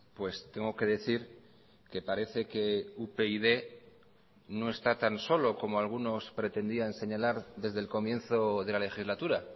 pues tengo que decir que parece que upyd no está tan solo como algunos pretendían señalar desde el comienzo de la legislatura